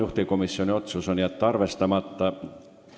Juhtivkomisjoni otsus: jätta arvestamata.